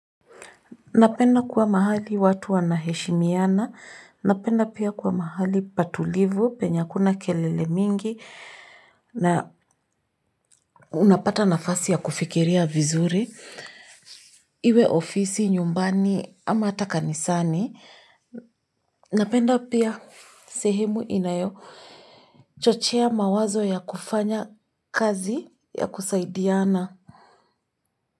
Napenda kuwa mahali watu wanaheshimiana, napenda pia kuwa mahali patulivu, penya hakuna kelele mingi, na unapata nafasi ya kufikiria vizuri, iwe ofisi, nyumbani, ama ata kanisani, napenda pia sehemu inayo chochea mawazo ya kufanya kazi ya kusaidiana.